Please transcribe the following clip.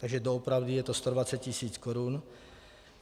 Takže doopravdy je to 120 tisíc korun.